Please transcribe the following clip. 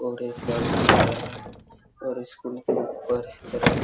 और कार खड़े है और स्कूल के ऊपर तरफ--